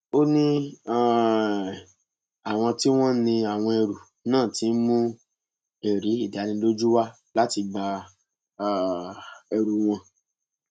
ó ní um àwọn tí wọn ní àwọn ẹrú náà ti ń mú ẹrí ìdánilójú wá láti gba um ẹrù wọn